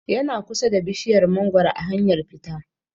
Yana kusa da bishiyar mangoro a hanyar fita